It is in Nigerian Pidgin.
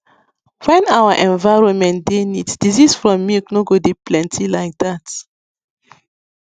when our environment dey neat diseases from milk no go dey plenty like dat